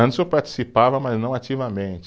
Antes eu participava, mas não ativamente.